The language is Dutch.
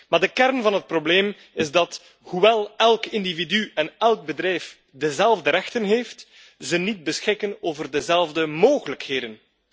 Maar de kern van het probleem is dat, hoewel elk individu en elk bedrijf dezelfde rechten heeft, ze niet beschikken over dezelfde mogelijkheden.